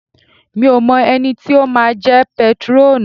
Mi ò mọ ẹni tí ó máa jẹ́ pétrọ́ọ̀nù.